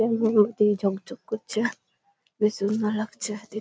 এমনি দেখতে ঝক ঝক করছে-এ। বেশ খুব সুন্দর লাগছে দে--